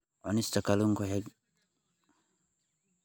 Cunista kalluunka waxay yaraynaysaa khatarta ah inuu ku dhaco kansarka.